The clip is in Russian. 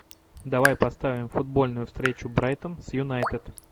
давай поставим футбольную встречу брайтон с юнайтед